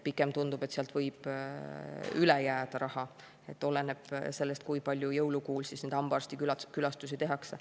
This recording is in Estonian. Pigem tundub, et sealt võib raha üle jääda, oleneb sellest, kui palju jõulukuul hambaarstikülastusi tehakse.